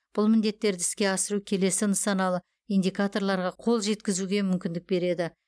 бұл міндеттерді іске асыру келесі нысаналы индикаторларға қол жеткізуге мүмкіндік береді